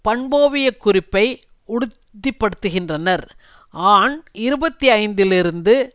பண்போவியக் குறிப்பை உறுதிப்படுத்துகின்றனர் ஆண் இருபத்தி ஐந்துலிருந்து